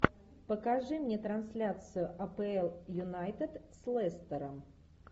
покажи мне трансляцию апл юнайтед с лестером